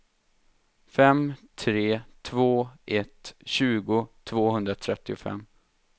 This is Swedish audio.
fem tre två ett tjugo tvåhundratrettiofem